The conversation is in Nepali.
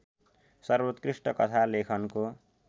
सर्वोत्कृष्ट कथा लेखनको